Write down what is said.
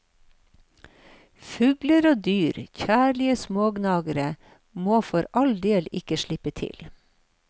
Fugler og dyr, særlig smågnagere, må for all del ikke slippe til.